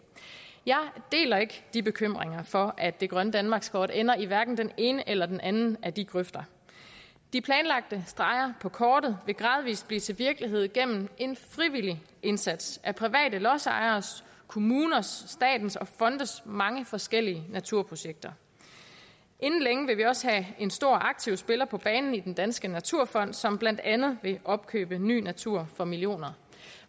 jeg deler ikke de bekymringer for at det grønne danmarkskort ender i den ene eller den anden af de grøfter de planlagte streger på kortet vil gradvis blive til virkelighed gennem en frivillig indsats af private lodsejeres kommuners statens og fondes mange forskellige naturprojekter inden længe vil vi også have en stor aktiv spiller på banen i den danske naturfond som blandt andet vil opkøbe ny natur for millioner